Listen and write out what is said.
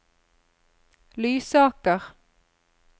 Lysaker